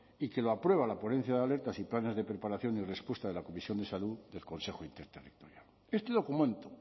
y que lo aprueba la ponencia de alertas y planes de preparación y respuesta de la comisión de salud del consejo interterritorial este documento